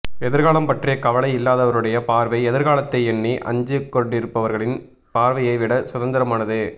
எதிர்காலம் பற்றிய கவலை இல்லாதவருடைய பார்வை எதிர்காலத்தை எண்ணி அஞ்சிக்கொண்டிருப்பவர்களின் பார்வையை விட சுதந்திரமானது